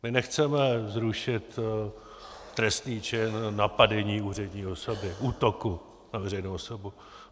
My nechceme zrušit trestný čin napadení úřední osoby, útoku na veřejnou osobu.